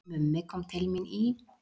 Mummi kom til mín í